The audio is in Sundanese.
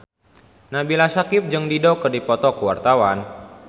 Nabila Syakieb jeung Dido keur dipoto ku wartawan